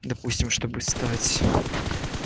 допустим чтобы стать